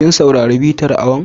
Kin saurari bitar awon?